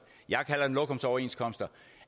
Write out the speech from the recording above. jeg kalder dem lokumsoverenskomster